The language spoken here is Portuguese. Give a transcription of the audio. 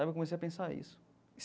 Aí eu comecei a pensar isso.